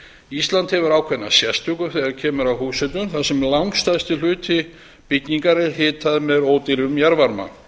ísland hefur ákveðna sérstöðu þegar kemur að húshitun þar sem langstærsti hluti bygginga er hitaður með ódýrum jarðvarma